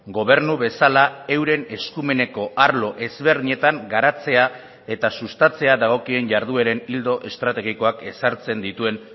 gobernu bezala euren eskumeneko arlo ezberdinetan garatzea eta sustatzea dagokien jardueren ildo estrategikoak ezartzen dituen